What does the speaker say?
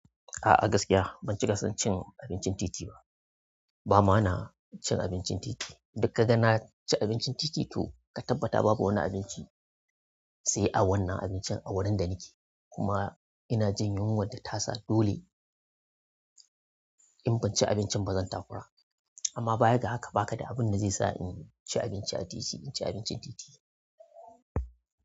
A'a gaskiya ban cika son cin abincin titi ba. Ba ma na cin abincin titi. Duk ka ga na ci abincin titi, to ka tabbata babu wani abinci sai a wannan abincin a wurin da nake. Kuma ina jin yunwar da tasa dole in ban ci abincin ba zan takura. Amma baya ga haka ba ka da abin da zai sa in ci abinci a titi, in ci abincin titi.